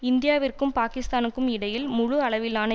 இந்தியாவிற்கும் பாக்கிஸ்தானுக்கும் இடையில் முழுஅளவிலான